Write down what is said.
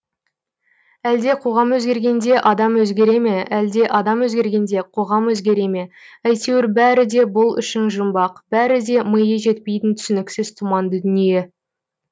әлде қоғам өзгергенде адам өзгере ме әлде адам өзгергенде қоғам өзгере ме әйтеуір бәрі де бұл үшін жұмбақ бәрі де миы жетпейтін түсініксіз тұманды дүние